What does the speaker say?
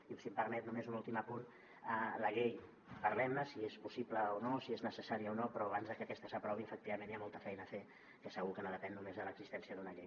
i si em permet només un últim apunt la llei parlem ne si és possible o no si és necessària o no però abans de que aquesta s’aprovi efectivament hi ha molta feina a fer que segur que no depèn només de l’existència d’una llei